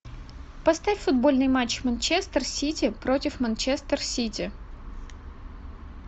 поставь футбольный матч манчестер сити против манчестер сити